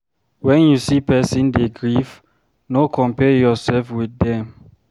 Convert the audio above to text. When you see person dey grief, no compare yourself with dem